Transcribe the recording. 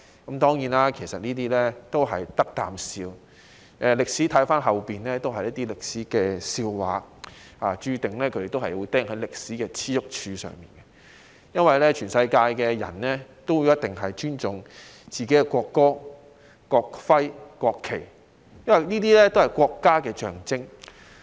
現在回望，這些當然都是不值一哂的言論，而他們也注定會被釘在歷史的耻辱柱上，因為全世界人民都必定會尊重自己的國歌、國徽和國旗，這些都是國家的象徵。